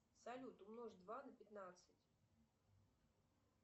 салют умножь два на пятнадцать